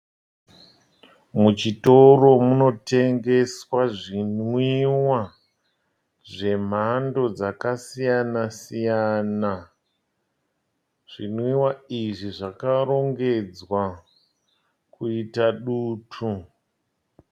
Muchitoro munotengeswa zvinwiwa zvemhando dzakasiyana siyana, zvinwiwa izvi zvakarongedzwa kuita dutu.